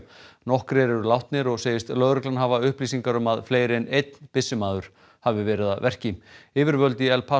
nokkrir eru látnir og segist lögreglan hafa upplýsingar um að fleiri en einn byssumaður hafi verið að verki yfirvöld í El